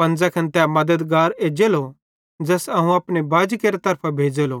पन ज़ैखन तै मद्दतगार एज्जेलो ज़ैस अवं अपने बाजेरे तरफां भेज़ेलो